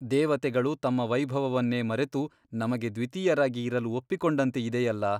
ದೇವತೆಗಳು ತಮ್ಮ ವೈಭವವನ್ನೇ ಮರೆತು ನಮಗೆ ದ್ವಿತೀಯರಾಗಿ ಇರಲು ಒಪ್ಪಿಕೊಂಡಂತೆ ಇದೆಯಲ್ಲ?